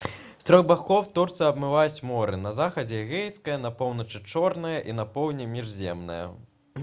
з трох бакоў турцыю абмываюць моры на захадзе эгейскае на поўначы чорнае і на поўдні міжземнае